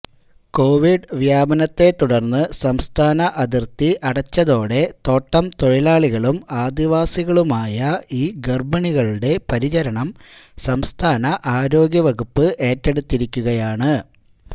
Covid വ്യാപനത്തെത്തുടര്ന്ന് സംസ്ഥാന അതിര്ത്തി അടച്ചതോടെ തോട്ടം തൊഴിലാളികളും ആദിവാസികളുമായ ഈ ഗര്ഭിണികളുടെ പരിചരണം സംസ്ഥാന ആരോഗ്യ വകുപ്പ് ഏറ്റെടുത്തിരിക്കുകയാണ്